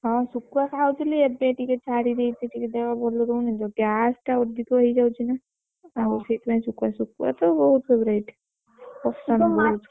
ହଁ ଶୁଖୁଆ ଖାଉଥିଲି ଏବେ ଛାଡିଦେଇଛି ଟିକେ ଦେହ ଭଲ ରହୁନି ତ gas ଟା ଅଧିକ ହେଇଯାଉଛି ନା ଆଉ ସେଇଥିପାଇଁ ଶୁଖୁଆ ଶୁଖୁଆ ତ ବହୁତ favorite ।